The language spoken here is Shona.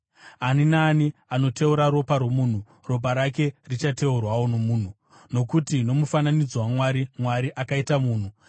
“Ani naani anoteura ropa romunhu, ropa rake richateurwawo nomunhu; nokuti nomufananidzo waMwari, Mwari akaita munhu.